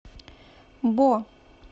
бо